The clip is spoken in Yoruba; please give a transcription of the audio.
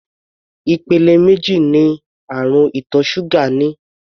Ìpele méjì ní àrùn ìtọ̀ ṣúgà ní.